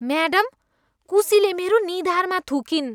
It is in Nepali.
म्याडम, कुसीले मेरो निधारमा थुकिन्।